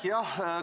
Aitäh!